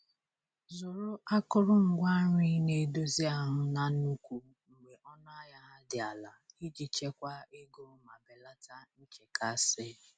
Zụrụ akụrụngwa nri na-edozi ahụ na nnukwu mgbe ọnụ ahịa ha dị ala iji chekwaa ego ma belata nchekasị.